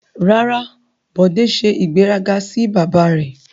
Rara, Bode se igberaga si baba re